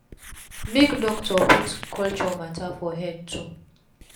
make doctor put culture mata for head too